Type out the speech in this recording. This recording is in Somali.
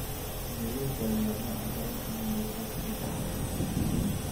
Sidee loo daweeyaa nooca dareenka neuropathy ee dhaxalka ah?